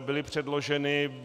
byly předloženy.